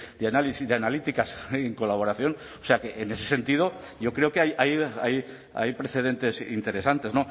de análisis de analíticas en colaboración o sea que en ese sentido yo creo que hay precedentes interesantes